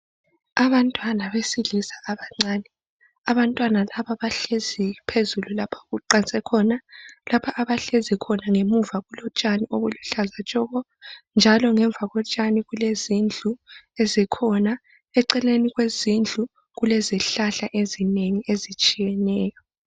abantwana besilisa abancane abantwana laba bahlezi phezulu lapha okuqanse khona lapha abahlezi khona ngemuva kulotshani obuluhlaza tshoko njalo ngemva kotshani kulezindlu ezikhona eceleni kwezindlu kukhona izihlahla ezinengi ezitshiyenenyo